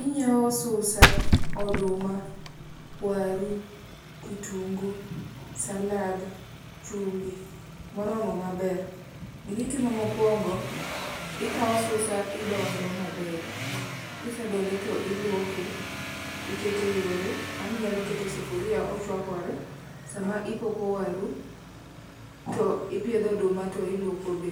Inyiewo susa ,oduma, waru, kitungu, salad ,chumbi moromo maber. Gima itimo mokuongo, ikawo susa idondo maber, kisedonde to iluoke, ikete yore, ama inyalo kete e sufuria ochuakore sama ipoko waru, to ipiedho oduma to iluoko be.